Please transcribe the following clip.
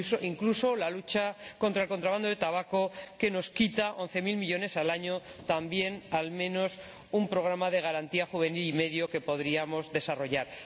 Incluso la lucha contra el contrabando de tabaco, que nos quita 11000 millones al año, equivaldría también al menos a un programa y medio de garantía juvenil que podríamos desarrollar.